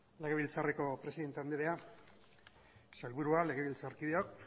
legebiltzarreko presidente anderea sailburua legebiltzarkideok